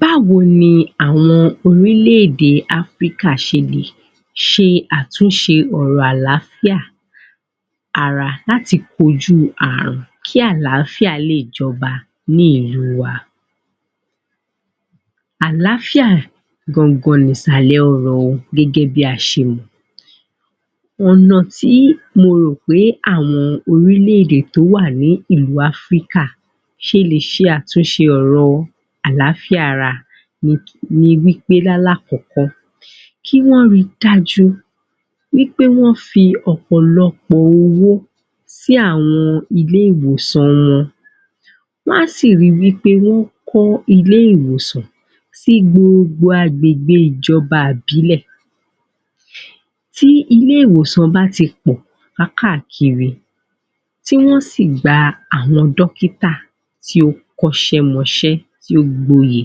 Báwo ni àwọn orílẹ̀-èdè africa ṣe lè ṣe lè ṣe àtúnṣe ọ̀rọ̀ àláfíà àrà láti kojú àrùn kí àláfíà lè jọbá ní ìlú wa Àláfíà gangan ni ìsàlẹ̀ ọrọ̀ gẹ́gẹ́ bí a ṣe mọ̀ ọ̀nà tí mo rò pé àwọn orílẹ̀-èdè tó wa ní ìlú Africa ṣe lè ṣe àtúṣe ọ̀rọ̀ àláfíà wa ni wí pé lálákọ̀kọ́ kí wọ́n ri dájú pé wọ́n fi ọ̀pọ̀lọpọ̀ owó sí àwọn ilé-ìwòsàn wọn wọ́n á sì ri wí pé wọ́n á kọ́ ilé-ìwòsàn si gbogbo agbègbè ìjọba ìbílẹ̀ tí ilé-ìwòsàn bá ti pọ̀ káàkiri tí wọ́n sì gba àwọn dọ́kítà tí ó kọ́ṣẹ́ mọṣẹ́ tí ó gboyè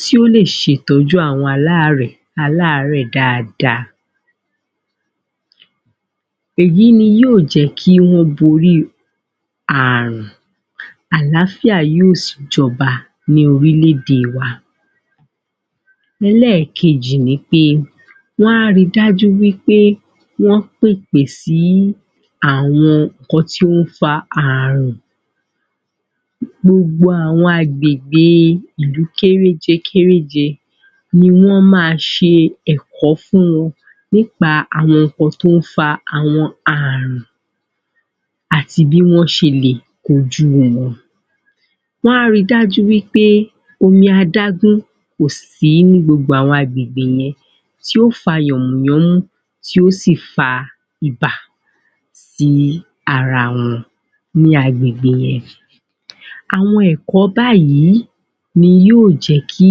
tí ó lè ṣe ìtọ́jú àwọn aláàrẹ̀ dáadáa èyí ni yóò jẹ́ kí wọ́n borí àrùn àlááfíà yóò sì jọba ní orílẹ̀-èdè wa ẹlẹ́ẹ̀kejì ni pé wọ́n á ri dájú wí pé wọ́n pèpè sí àwọn nǹkan tí ó ń fa àrùn gbogbo àwọn agbègbè ìlú kéréjekéréje nni wọ́n máa ṣe ẹ̀kọ́ fún wọn nípa àwọn nǹkan tó ń fa àrùn àti bí wọ́n ṣe lè kojú wọn wọ́n a ri dájú wí pé kò sí omi adágún ní gbogbo àwọn agbègbè yẹn tí yóò fa yànmùyánmú tí yóò sì fa ibà sí ara wọn ní agbègbè yẹn àwọn ẹ̀kọ́ báyìí ni yóò jẹ́ kí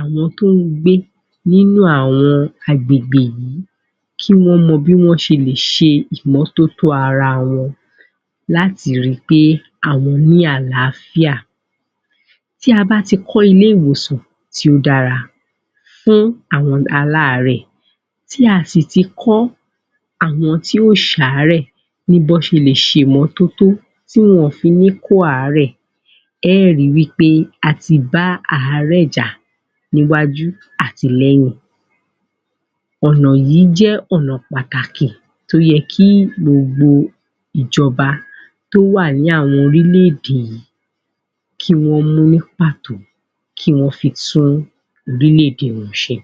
àwọn tó ń gbé nínú àwọn agbègbè yìí kí wọ́n mọ bí wọ́n ṣe lè ṣe ìmọ́tótó ara wọn láti ri pé àwọn ní àlááfíà tí a bá ti kọ́ ilé-ìwòsàn tí ó dára fún àwọn aláàrẹ̀ tí a sì ti kọ́ àwọn tí ò ṣàárẹ̀ ní bí wọ́n ṣe lè ṣe ìmọ́tótó tí wọn ò fi ní kó àárẹ̀ ẹ ó ri wí pé a ti bá àárẹ̀ jà ní wájú àti lẹ́yìn ọ̀nà yìí jẹ́ ọ̀nà pàtàkì tó yẹ kí gbogbo ìjọba tó wà ní àwọn orílẹ̀-èdè kí wọ́n mú ní pàtó kí wọ́n fi tún orílẹ̀-èdè wọn ṣe